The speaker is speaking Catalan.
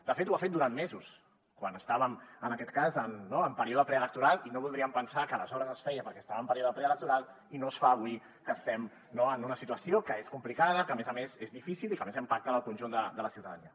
de fet ho ha fet durant mesos quan estàvem en aquest cas en període preelectoral i no voldríem pensar que aleshores es feia perquè s’estava en període preelectoral i no es fa avui que estem en una situació que és complicada que a més a més és difícil i que a més impacta en el conjunt de la ciutadania